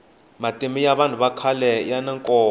matimu ya vanhu vakhale yani nkoka